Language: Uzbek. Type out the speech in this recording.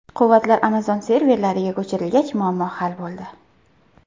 Quvvatlar Amazon serverlariga ko‘chirilgach, muammo hal bo‘ldi.